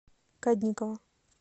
кадникова